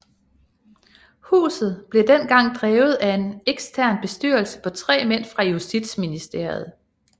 Huset blev dengang drevet af en ekstern bestyrelse på 3 mænd fra Justitsministeriet